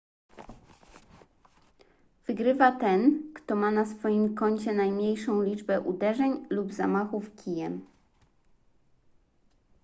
wygrywa ten kto ma na swoim koncie najmniejszą liczbę uderzeń lub zamachów kijem